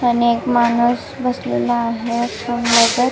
आणि एक माणुस बसलेला आहे --